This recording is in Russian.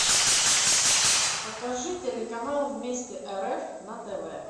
покажи телеканал вместе рф на тв